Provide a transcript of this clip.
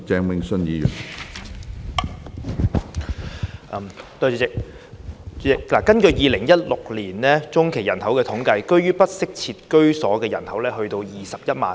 主席，根據2016年中期人口統計，居於不適切居所的人數高達21萬。